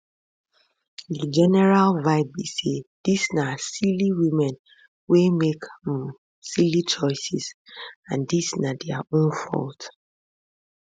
di general vibe be say dis na silly women wey make um silly choices and dis na dia own fault